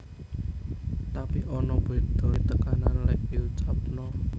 Tapi ana bedhone tekanan lhek diucapno